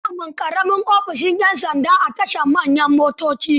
Ana samun ƙaramin ofishin 'yan sanda a tashar manyan motoci.